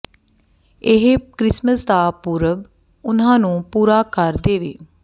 ਇਹ ਕ੍ਰਿਸਮਸ ਦਾ ਪੁਰਬ ਉਨ੍ਹਾਂ ਨੂੰ ਪੂਰਾ ਕਰ ਦੇਵੇ